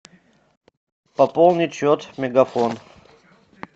пополнить счет мегафон